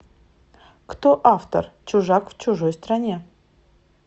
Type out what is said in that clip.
кто автор чужак в чужой стране